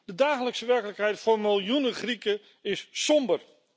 De dagelijkse werkelijkheid voor miljoenen Grieken is somber.